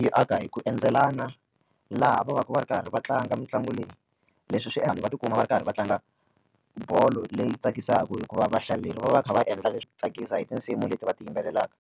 Yi aka hi ku endzelaka laha va va ka va ri karhi va tlanga mitlangu leyi leswi swi endla va tikuma va ri karhi va tlanga bolo leyi tsakisaka hikuva vahlaleri va va va kha va endla leswo tsakisa hi tinsimu leti va ti yimbelelaka.